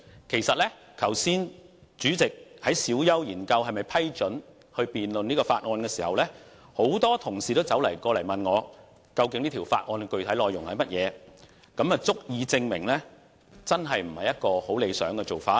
其實主席剛才在小休時研究是否批准辯論這項議案時，很多同事也問我究竟這項議案的具體內容是甚麼，這足以證明真的不是理想的做法。